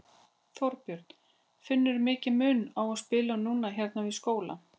Þorbjörn: Finnurðu mikinn mun á að spila núna hérna við skólann?